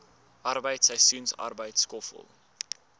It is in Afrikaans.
arbeid seisoensarbeid skoffel